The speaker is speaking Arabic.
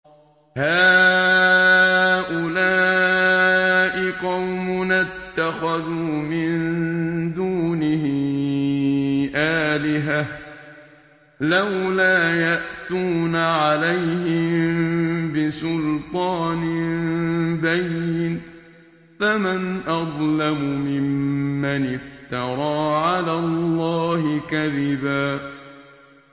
هَٰؤُلَاءِ قَوْمُنَا اتَّخَذُوا مِن دُونِهِ آلِهَةً ۖ لَّوْلَا يَأْتُونَ عَلَيْهِم بِسُلْطَانٍ بَيِّنٍ ۖ فَمَنْ أَظْلَمُ مِمَّنِ افْتَرَىٰ عَلَى اللَّهِ كَذِبًا